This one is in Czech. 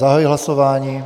Zahajuji hlasování.